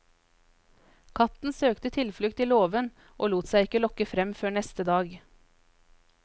Katten søkte tilflukt i låven, og lot seg ikke lokke frem før neste dag.